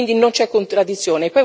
Quindi non c'è contraddizione.